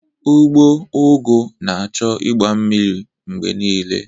Ugbo ugu ga na-achọ igba mmiri mgbe niile